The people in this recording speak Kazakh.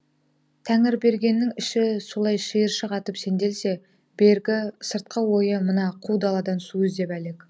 тәңірбергеннің іші солай шиыршық атып сенделсе бергі сыртқы ойы мына қу даладан су іздеп әлек